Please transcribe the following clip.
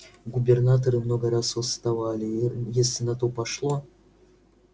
губернаторы много раз восставали и если на то пошло